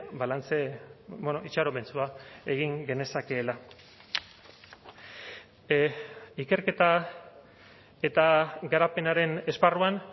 balantze itxaropentsua egin genezakeela ikerketa eta garapenaren esparruan